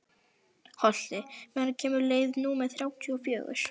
Holti, hvenær kemur leið númer þrjátíu og fjögur?